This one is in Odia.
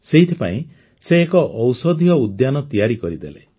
ସେଥିପାଇଁ ସେ ଏକ ଔଷଧୀୟ ଉଦ୍ୟାନ ତିଆରି କରିଦେଲେ